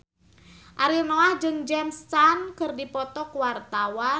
Ariel Noah jeung James Caan keur dipoto ku wartawan